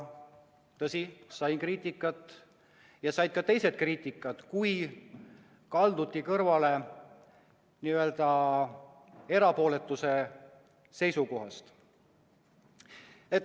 Tõsi, sain ise kriitikat ja said ka teised kriitikat, kui oli kaldutud kõrvale n-ö erapooletuse seisukohast.